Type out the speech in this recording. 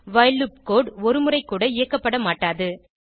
while loop code ஒருமுறைக்கூட இயக்கப்படமாட்டாது